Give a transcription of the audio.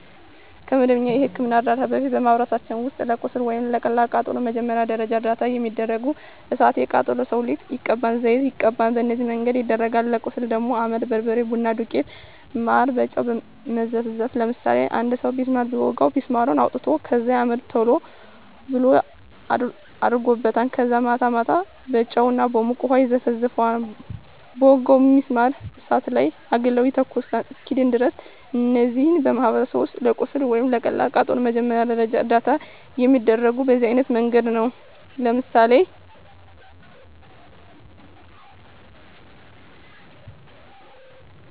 ከመደበኛ የሕክምና ዕርዳታ በፊት፣ በማኅበረሰባችን ውስጥ ለቁስል ወይም ለቀላል ቃጠሎ መጀመሪያ ደረጃ እርዳታ የሚደረገው እሣት የቃጠለው ሠው ሊጥ ይቀባል፤ ዘይት ይቀባል፤ በነዚህ መንገድ ይደረጋል። ለቁስል ደግሞ አመድ፤ በርበሬ፤ ቡና ዱቄት፤ ማር፤ በጨው መዘፍዘፍ፤ ለምሳሌ አንድ ሠው ቢስማር ቢወጋው ቢስማሩን አውጥተው ከዛ አመድ ቶሎ ብለው አደርጉበታል ከዛ ማታ ማታ በጨው እና በሞቀ ውሀ ይዘፈዝፈዋል በወጋው ቢስማር እሳት ላይ አግለው ይተኩሱታል እስኪድን ድረስ። እነዚህ በማኅበረሰባችን ውስጥ ለቁስል ወይም ለቀላል ቃጠሎ መጀመሪያ ደረጃ እርዳታ የሚደረገው በዚህ አይነት መንገድ ነው። ለምሳሌ